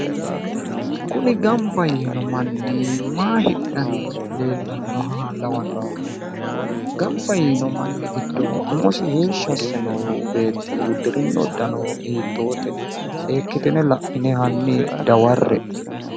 Kuni gamba yiino manni maa hidhanni leellannoha lawanno'ne gamba yiino manni giddo umosi heeshshi asse noo beetti uddirino uddano hiittoote? Seekkitine laine hanni dawarre''e.